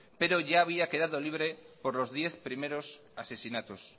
pero ya había quedado libre por los diez primeros asesinatos